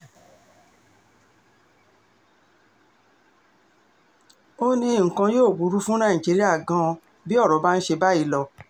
ó ní nǹkan yóò burú fún nàìjíríà gan-an bí ọ̀rọ̀ bá ń ṣe báyìí lọ